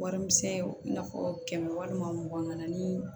Warimisɛn i n'a fɔ kɛmɛ walima mugan ani